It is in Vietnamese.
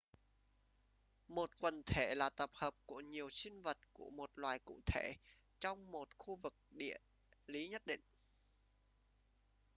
một quần thể là tập hợp của nhiều sinh vật của một loài cụ thể trong một khu vực địa lí nhất định